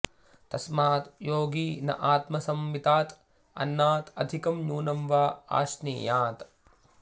तस्मात् योगी न आत्मसम्मितात् अन्नात् अधिकं न्यूनं वा अश्नीयात्